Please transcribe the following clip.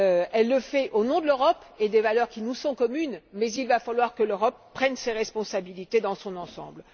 Elle le fait au nom de l'Europe et des valeurs qui nous sont communes, mais il va falloir que l'Europe prenne ses responsabilités dans son ensemble.